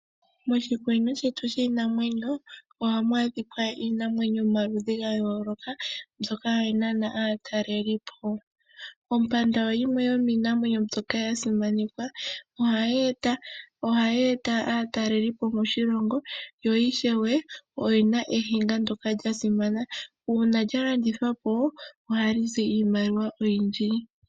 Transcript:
Moshikunino shetu shiinamwenyo ohamu adhika iinamwenyo yomaludhi ga yooloka mbyoka hayi nana aataleli po. Ompanda oyo yimwe yomiinamwenyo mbyoka ya simanekwa , ohayi eta aataleli po moshilongo yo ishewe oyina ehinga ndyoka lya simana uuna lya landithwa po ohali zi iimaliwa oyindji.